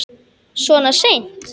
Svona seint?